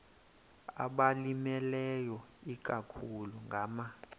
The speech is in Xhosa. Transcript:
abalimileyo ikakhulu ngama